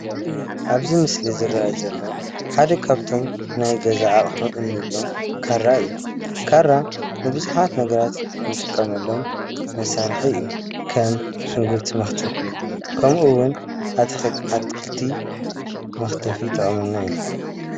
ኣብዚ ምስሊ ዝርአ ዘሎ ሓደ ካብቶም ናይ ገዛ ኣቑሑ ንብሎም ካራ እዩ። ካራ ንብዙሓት ነገራት ንጥቀመሎም መሳሪሒ እዩ። ከም ሽጉርቲ መክተፊ ከምኡ እውን ኣትክልቲ መክተፊ ይጠቕመና እዩ።